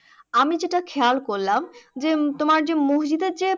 আমি যেটা খেয়াল করলাম যে তোমার যে মসজিদের যে